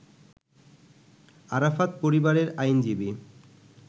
আরাফাত পরিবারের আইনজীবী